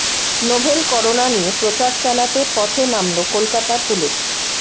novel corona নিয়ে প্রচার চালাতে পথে নামল কলকাতা পুলিশ